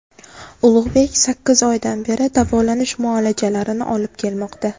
Ulug‘bek sakkiz oydan beri davolanish muolajalarini olib kelmoqda.